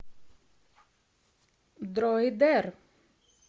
дройдер